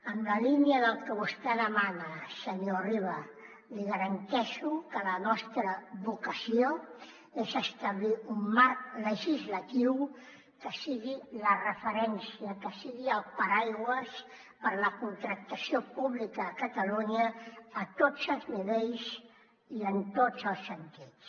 en la línia del que vostè demana senyor riba li garanteixo que la nostra vocació és establir un marc legislatiu que sigui la referència que sigui el paraigua per a la contractació pública a catalunya a tots els nivells i en tots els sentits